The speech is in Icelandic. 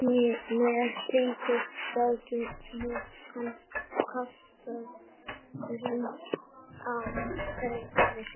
með slíku gátu menn kastað rýrð á heiður sinn